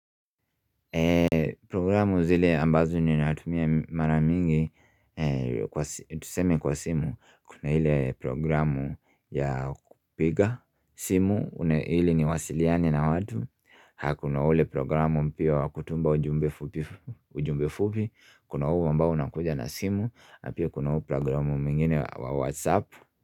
Programu zile ambazo ninatumia mara mingi Tuseme kwa simu, Kuna ile programu ya kupiga simu ili niwasiliane na watu kuna ule programu mpya wa kutumba ujumbe fupi Kuna huo ambao unakuja na simu pia kuna huu programu mwingine wa whatsapp.